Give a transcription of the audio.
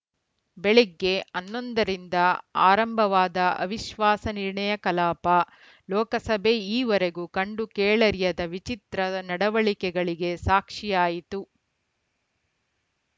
ಬೆಳಗ್ಗೆ ಹನ್ನೊಂದ ರಿಂದ ಆರಂಭವಾದ ಅವಿಶ್ವಾಸ ನಿರ್ಣಯ ಕಲಾಪ ಲೋಕಸಭೆ ಈವರೆಗೂ ಕಂಡುಕೇಳರಿಯದ ವಿಚಿತ್ರ ನಡವಳಿಕೆಗಳಿಗೆ ಸಾಕ್ಷಿಯಾಯಿತು